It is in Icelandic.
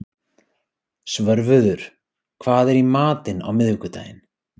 Svörfuður, hvað er í matinn á miðvikudaginn?